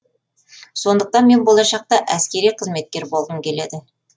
сондықтан мен болашақта әскери қызметкер болғым келеді